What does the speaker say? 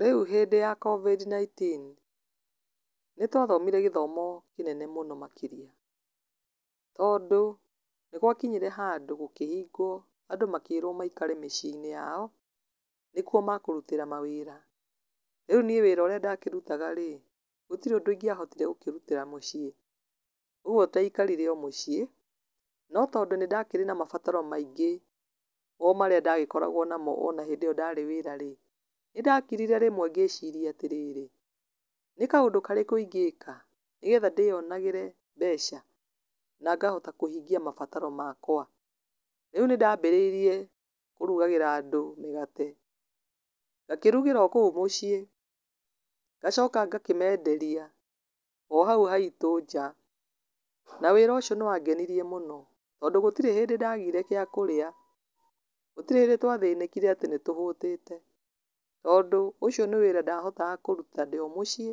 Rĩu hĩndĩ ya COVID-19, nĩtwathomire gĩthomo kĩnene mũno makĩria, tondũ nĩgwakinyire handũ andũ makĩrwo maikare mĩci-i-inĩ yao, nĩku makũrutĩra mawĩra, rĩu niĩ wĩra ũrĩa ndakĩrutaga rĩ, gũtirĩ ũndũ ingĩahotire gũkĩrutĩra mũciĩ, ũguo ndaikarire mũciĩ, no tondũ nĩndarĩ na mabataro maingĩ, o marĩa ndagĩkoragwo namo ona hĩndĩ ĩyo ndarĩ wĩra rĩ, nĩndakirire rĩmwe ngĩciria atĩrĩrĩ, nĩ kaũndũ karĩkũ ingĩka, nĩgetha ndĩyonagĩre mbeca, na ngahota kũhingia mabataro makwa, rĩu nĩndambĩrĩirie kũrugagíra andũ mĩgate, ngakĩrugagĩra o kũu mũciĩ, ngacoka ngakĩmenderia o hau haitũ nja, na wĩra ũcio nĩwangenirie mũno, tondũ gũtirĩ hĩndĩ ndagire gĩa kũrĩa, gũtirĩ hĩndĩ twathĩnĩkire atĩ nĩtũhũtĩte, tondũ, ũcio nĩ wĩra ndahotaga kúruta ndĩ o mũciĩ,